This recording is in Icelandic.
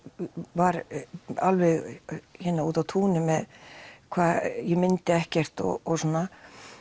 var alveg úti á túni með hvað ég myndi ekkert og svona